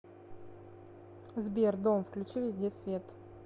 сбер дом включи везде свет